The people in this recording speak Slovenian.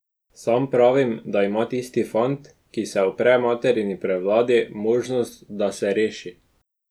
Sam pravim, da ima tisti fant, ki se upre materini prevladi, možnost, da se reši.